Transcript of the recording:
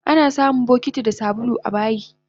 Anasamun bokiti da sabulu abayi